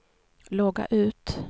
logga ut